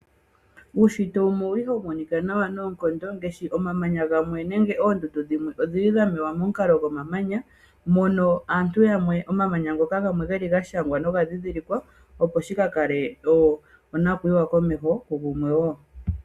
Uunshitwe wumwe owuli hawu monika nawa noonkondo ngaashi omamanya gamwe nenge oondundu. Dho dhimwe odhi li dha mewa momukalo gomamanya. Mono omanya ngoka gamwe ga shangwa noga dhindhilikwa.